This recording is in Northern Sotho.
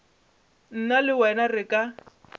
nna le wena re ka